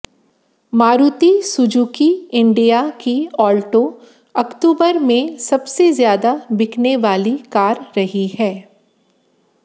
Maruti Suzuki India की Alto अक्तूबर में सबसे ज्यादा बिकने वाली कार रही है